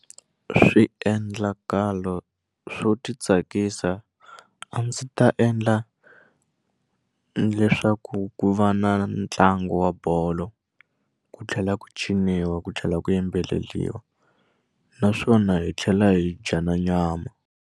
Swiendlakalo swo ti tsakisa a ndzi ta endla leswaku ku va na ntlangu wa bolo ku tlhela ku ciniwa ku tlhela ku yimbeleliwa naswona hi tlhela hi dya na nyama.